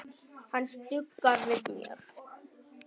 Hann stuggar við mér.